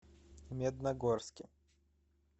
медногорске